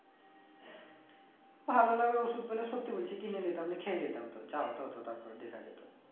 ভালো লাগার ওষুধ পেলে সত্যি বলছি কিনে নিতাম দিয়ে খেয়ে নিতাম তো যা হতো হতো তারপরে দেখা যেত